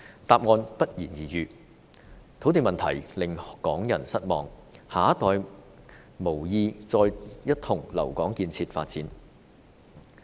答案不言而喻，土地問題令港人失望，下一代無意再一同留港建設發展。